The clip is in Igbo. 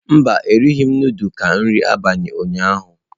Mba, erighị m nudulu ka nri abalị ụnyaahụ.